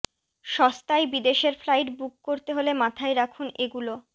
সস্তায় বিদেশের flight book করতে হলে মাথায় রাখুন এগুলো